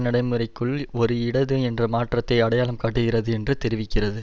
நடைமுறைக்குள் ஒரு இடது என்ற மாற்றத்தை அடையாளம் காட்டுகிறது என்று தெரிவிக்கிறது